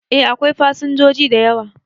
E, akwai fasinjoji da yawa.